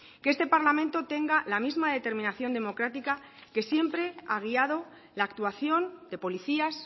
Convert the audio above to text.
que este parlamento tenga la misma determinación democrática que siempre ha guiado la actuación de policías